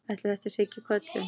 Ætli þetta sé ekki köllun?